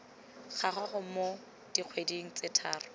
gago mo dikgweding tse tharo